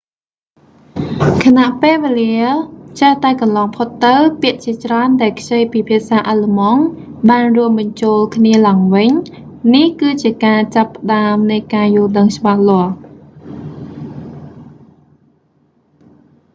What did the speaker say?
ខណៈពេលវេលាចេះតែកន្លងផុតទៅ ពាក្យជាច្រើនដែលខ្ចីពីភាសាអាឡឺម៉ង់បានរួមបញ្ចូលគ្នាឡើងវិញ នេះ គឺជាការចាប់ផ្តើមនៃការយល់ដឹងច្បាស់លាស់